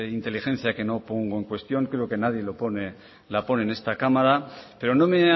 inteligencia que no pongo en cuestión creo que nadie la pone en esta cámara pero no me